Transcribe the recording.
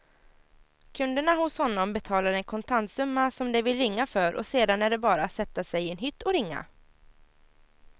Kunderna hos honom betalar en kontantsumma som de vill ringa för och sedan är det bara att sätta sig i en hytt och ringa.